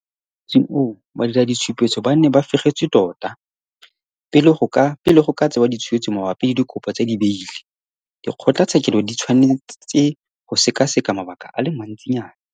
Mo motsing oo badiraditshupetso ba ne ba fegetswe tota. Pele go ka tsewa ditshwetso mabapi le dikopo tsa dibaile, dikgotlatshekelo di tshwanetse go sekaseka mabaka a le mantsinyana.